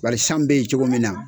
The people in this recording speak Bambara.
Bari san be yen cogo min na